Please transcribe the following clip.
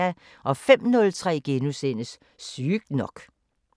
05:03: Sygt nok *